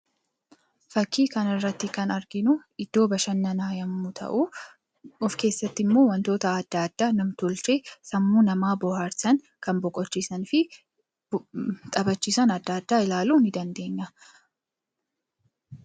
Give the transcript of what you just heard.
Fakkii kana irratti kan arginu iddoo bashannanaa yoo ta'u, of keessatti wantoota adda addaa namtolchee ta'anii sammuu dhala namaa bohaarsanii fi bashannansiisan argina.